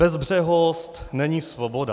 Bezbřehost není svoboda.